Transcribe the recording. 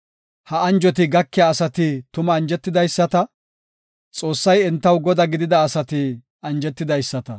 Ha anjoti gakiya asati tuma anjetidaysata; Xoossay entaw Godaa gidida asati anjetidaysata.